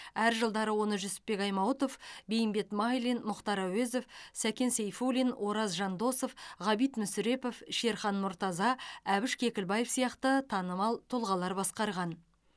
әр жылдары оны жүсіпбек аймауытов бейімбет майлин мұхтар әуезов сәкен сейфуллин ораз жандосов ғабит мүсірепов шерхан мұртаза әбіш кекілбаев сияқты танымал тұлғалар басқарған